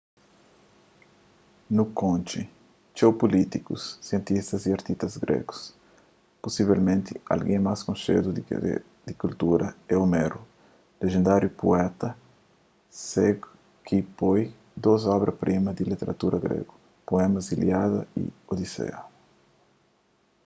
nu konxe txeu pulítikus sientistas y artistas grégus pusivelmenti algen más konxedu des kultura é homeru lendáriu puéta ségu ki konpoi dôs obra-prima di literatura gregu poemas ilíada y odiseia